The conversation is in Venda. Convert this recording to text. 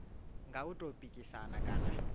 nga u tou pikisana kana